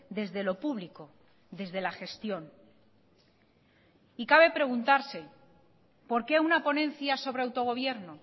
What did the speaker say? desde lo público desde la gestión y cabe preguntarse por qué una ponencia sobre autogobierno